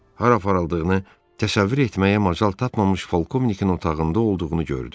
Hara aparıldığını təsəvvür etməyə macal tapmamış polkovnikin otağında olduğunu gördü.